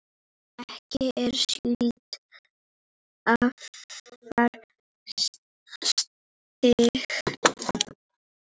ekki er síldin afar stygg